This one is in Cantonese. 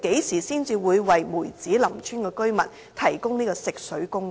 何時才會為梅子林村居民提供食水供應？